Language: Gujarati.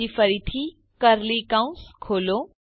પછી ફરીથી કર્લી કૌંસ ખોલો